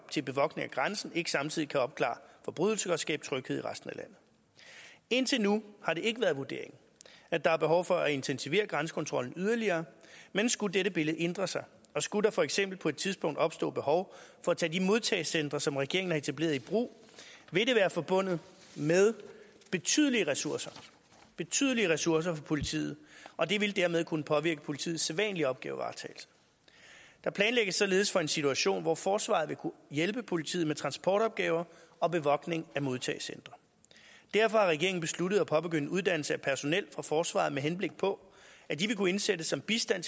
til bevogtning af grænsen ikke samtidig kan opklare forbrydelser og skabe tryghed i resten af landet indtil nu har det ikke været vurderingen at der er behov for at intensivere grænsekontrollen yderligere men skulle dette billede ændre sig og skulle der for eksempel på et tidspunkt opstå behov for at tage de modtagecentre som regeringen har etableret i brug vil det være forbundet med betydelige ressourcer betydelige ressourcer for politiet og det vil dermed kunne påvirke politiets sædvanlige opgavevaretagelse der planlægges således for en situation hvor forsvaret vil kunne hjælpe politiet med transportopgaver og bevogtning af modtagecentre derfor har regeringen besluttet at påbegynde uddannelse af personel fra forsvaret med henblik på at de vil kunne indsættes som bistand